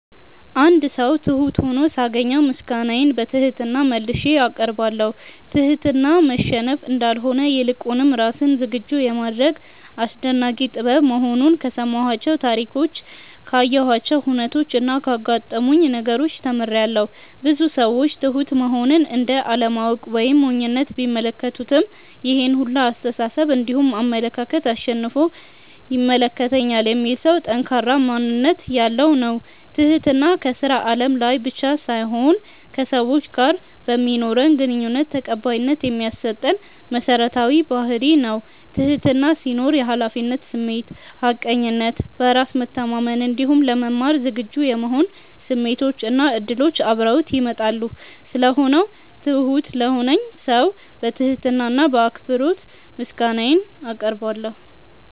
አንድ ሰው ትሁት ሁኖ ሳገኘው ምስጋናዬን በትህትና መልሼ አቀርባለሁ። ትህትና መሸነፍ እንዳልሆነ ይልቁንም ራስን ዝግጁ የማድረግ አስደናቂ ጥበብ መሆኑን ከሰማኋቸው ታሪኮች ካየኋቸው ሁነቾች እና ካጋጠሙኝ ነገሮች ተምሬያለው። ብዙ ሰዎች ትሁት መሆንን እንደ አለማወቅ ወይም ሞኝነት ቢመለከቱትም ይሄን ሁላ አስተሳሰብ እንዲሁም አመለካከት አሸንፎ ይመለከተኛል የሚል ሰው ጠንካራ ማንነት ያለው ነው። ትህትና ከስራ አለም ላይ ብቻ ሳይሆን ከሰዎች ጋር በማኖረን ግንኙነት ተቀባይነት የሚያሰጠን መሰረታዊ ባህርይ ነው። ትህትና ሲኖር የሀላፊነት ስሜት፣ ሀቀኝነት፣ በራስ መተማመን እንዲሁም ለመማር ዝግጁ የመሆን ስሜቶች እና እድሎች አብረውት ይመጣሉ። ስለሆነው ትሁት ለሆነልኝ ሰው በትህትና እና በአክብሮት ምስጋናዬን አቀርባለሁ።